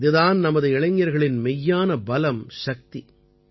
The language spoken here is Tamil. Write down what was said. இது தான் நமது இளைஞர்களின் மெய்யான பலம் சக்தி